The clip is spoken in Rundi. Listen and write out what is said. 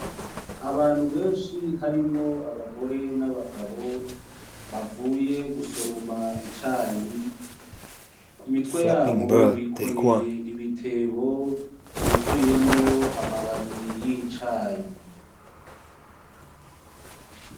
Abantu benshi harimwo abagore n'abagabo bavuye gusoroma icayi, ku mitwe yabo bikoreye ibitebo vyuzuyemwo amababi y'icayi.